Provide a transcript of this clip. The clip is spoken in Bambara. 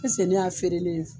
ne y'a feerelen ye